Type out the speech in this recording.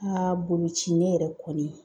Aa boloci ne yɛrɛ kɔni